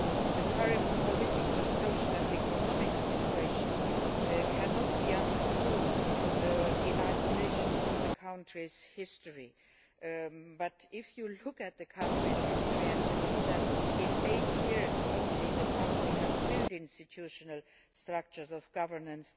The current political, social and economic situation cannot be understood in isolation from the country's history, but if you look at the country's history you see that in just eight years the country has built institutional structures of governance,